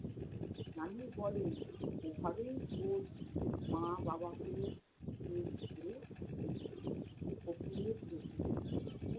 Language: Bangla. নানী বলেন, এভাবেই ওর মা-বাবাকে